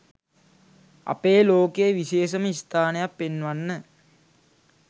අපේ ලෝකේ විශේෂම ස්ථානයක් පෙන්වන්න.